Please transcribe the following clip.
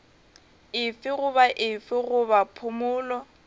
efe goba efe goba phumolo